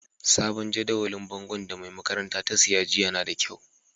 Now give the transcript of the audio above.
Sabon jadawalin bongon da mai makarantan ta siya jiya na da kyau.